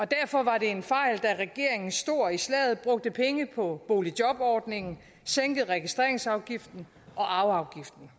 derfor var det en fejl da regeringen stor i slaget brugte penge på boligjobordningen sænkede registreringsafgiften og arveafgiften